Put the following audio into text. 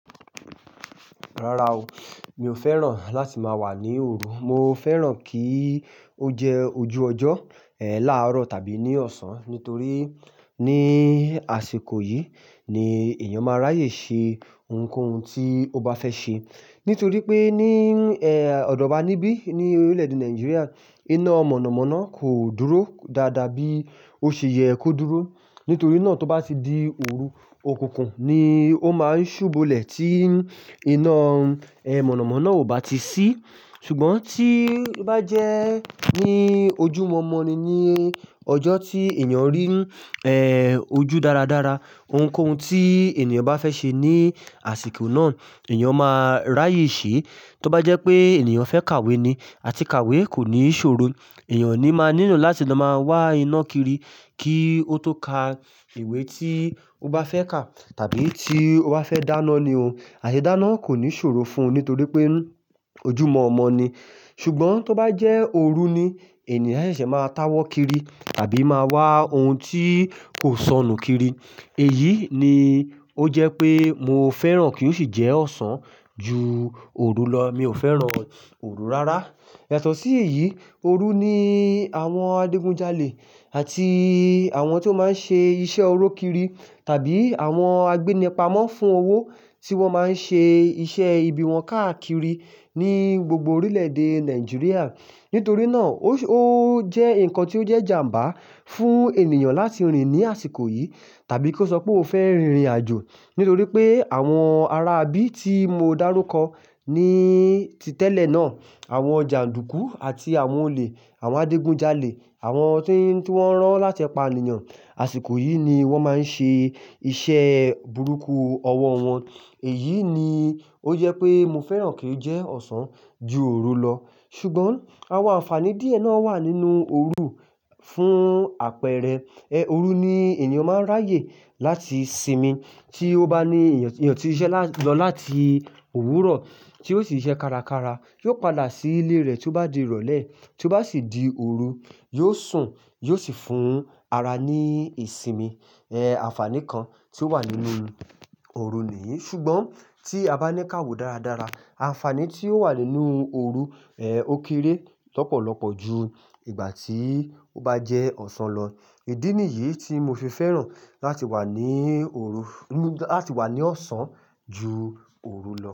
Rara o, mi ò fẹ́ràn láti máa wà ní òru. Mo fẹ́ràn kí ó jẹ́ ojú ọjọ́, ẹ́, láàrọ̀ tàbí ní ọ̀sán. Nítorí ní àsìkò yìí ni èèyàn máa ráyè ṣe ohunkóhun tí ó bá fẹ́ ṣe. Nítorí pé ní, ẹ́, ọ̀dọ̀ọ̀ wá níbí ní orílẹ̀-èdè Nàìjíríà, iná mọ̀nàmọ́ná kò dúró dáadáa bí ó ṣe yẹ kó dúró. Nítorí náà tó bá ti di òru, òkùnkùn ni ó máa ń ṣùbolẹ̀ tí iná, ẹ́, mọ̀nàmọ́ná ò bá ti ṣí. Ṣùgbọ́n tí bá jẹ́ ní ojúmọ̀ọ́mọ̀ ni ní ọjọ́ tí èèyàn rí, ẹ́, ojú dáradára, ohunkóhun tí ènìyàn bá fẹ́ ṣe ní àsìkò náà èèyàn máa ráyè ṣe. Tó bá jẹ́ pé ènìyàn fẹ́ kàwé ni àti kàwé kò ní ṣòro, èèyàn ni máa nílò láti lọ máa wá iná kiri kí ó tó ka ìwé tí ó bá fẹ́ kà. Tàbí tí ó bá fẹ́ dáná ni o, àìṣèdáná kò ní ṣòro fún un nítorí pé ojúmọ̀ọ́mọ̀ ni. Ṣùgbọ́n tó bá jẹ́ òru ni èèyàn ṣẹ̀ṣẹ̀ máa táwọ́ kiri tàbí máa wá ohun tí kò sọnù kiri. Èyí ni ó jẹ́ pé mo fẹ́ràn kí ó sì jẹ́ ọ̀sán ju òru lọ. Mi ò fẹ́ràn òru rárá. Yatọ́ sí èyí, òru ni àwọn adigunjalè àti àwọn tí ó máa ń ṣe iṣẹ́ oró kiri tàbí àwọn agbénipamọ́ fún owó tí wọ́n máa ń ṣe iṣẹ́ ibi wọn káàkiri ní gbogbo orílẹ̀-èdè Nàìjíríà. Nítorí náà ó se, ó jẹ́ nǹkan tí ó jẹ́ ìjàǹbá fún ènìyàn láti rìn ní àsìkò yìí tàbí kó sọ pé óun fẹ́ rìnrìn àjò. Nítorí pé àwọn ará bí tí mo dárúkọ ní ti tẹ́lẹ̀ náà, àwọn jàndùkú àti àwọn olè, àwọn adigunjalè, àwọn to n ti wọ́n rán láti pa ènìyàn, àsìkò yìí ni wọ́n máa ń ṣe iṣẹ́ burúkú ọwọ́ wọn. Èyí ni ó jẹ́ pé mo fẹ́ràn kí ó jẹ́ ọ̀sán ju òru lọ. Ṣùgbọ́n àwọn àǹfààní díẹ̀ náà wà nínú òru fún àpẹẹrẹ, ẹ́, òru ni èèyàn máa ń ráyè láti sinmi. Tí ó bá ní eeyan, eeyan ti siṣẹ́ lati lọ láti òwúrọ̀ tí ó sì ṣiṣẹ́ kárakára, yóò padà sí ilé rẹ̀ tí ó bá di ìrọ̀lẹ́. Tí ó bá sì di òru, yóò sùn, yóò sì fún ara ní ìsinmi. Ẹ̀, àǹfààní kan tí ó wà nínú òru ni yìí. Ṣùgbọ́n tí a bá ní kàwó dáradára, àǹfààní tí ó wà nínú òru, ẹ́, ó kéré lọ́pọ̀lọpọ̀ ju ìgbà tí ó bá jẹ́ ọ̀sán lọ. Ìdí nìyí tí mo fi fẹ́ràn láti wà ní òru, láti wà ní ọ̀sán ju òru lọ.